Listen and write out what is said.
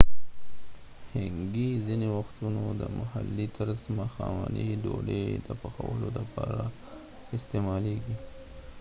hangi ځنیې وختونه د محلي طرز ماښامنۍ ډوډۍ د پخولو لپاره استعمالیږي